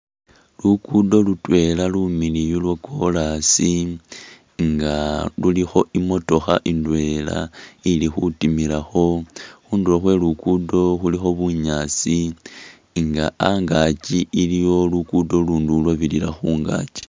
Lukudo lutwela lumiliyu lwo'korasi nga lulikho imotokha indwela ili khutimilakho, khundulo khwe lugudo khulikho bunyaasi nga angaki iliwo lugudo ulundi ulwobirira khungaki.